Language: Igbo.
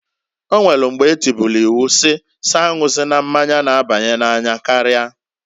O nwelu mgba etubulu iwu si s'anwụzina mmanya n'abanye n'anya karia.